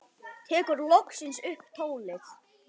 Tekur loksins upp tólið.